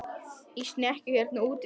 Í snekkju hérna úti fyrir!